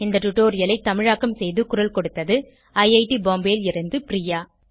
இந்த டுடோரியலை தமிழாக்கம் செய்து குரல் கொடுத்தது ஐஐடி பாம்பேவில் இருந்து பிரியா